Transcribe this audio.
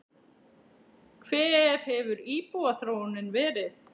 Hver hefur íbúaþróunin verið?